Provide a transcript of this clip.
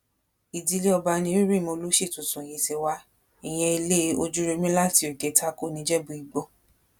ìdílé ọba ni orím olùṣí tuntun yìí ti wá ìyẹn ilé ojúròmi láti òkè tako níjẹ̀bú ígbó